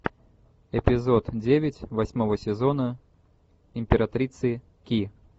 эпизод девять восьмого сезона императрицы ки